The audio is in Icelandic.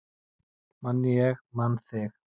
Man ég man þig